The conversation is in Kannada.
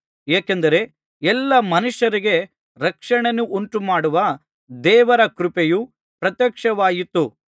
ಏಕೆಂದರೆ ಎಲ್ಲಾ ಮನುಷ್ಯರಿಗೆ ರಕ್ಷಣೆಯನ್ನುಂಟುಮಾಡುವ ದೇವರ ಕೃಪೆಯು ಪ್ರತ್ಯಕ್ಷವಾಯಿತು